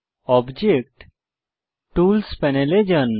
object tool প্যানেলে যান